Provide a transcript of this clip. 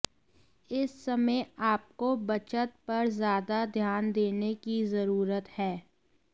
इस समय आपको बचत पर ज्यादा ध्यान देने की जरूरत है